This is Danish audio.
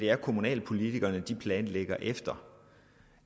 er kommunalpolitikerne planlægger efter